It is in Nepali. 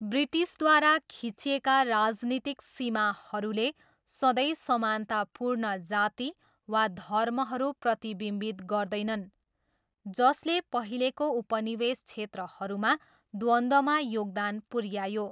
ब्रिटिसद्वारा खिचिएका राजनीतिक सीमाहरूले सधैँ समानतापूर्ण जाति वा धर्महरू प्रतिबिम्बित गर्दैनन्, जसले पहिलेको उपनिवेश क्षेत्रहरूमा द्वन्द्वमा योगदान पुऱ्यायो।